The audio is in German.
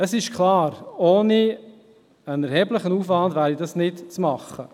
– Es ist klar, ohne einen erheblichen Aufwand wäre es nicht zu machen.